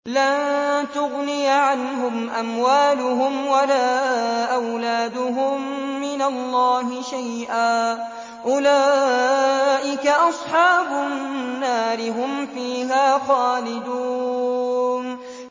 لَّن تُغْنِيَ عَنْهُمْ أَمْوَالُهُمْ وَلَا أَوْلَادُهُم مِّنَ اللَّهِ شَيْئًا ۚ أُولَٰئِكَ أَصْحَابُ النَّارِ ۖ هُمْ فِيهَا خَالِدُونَ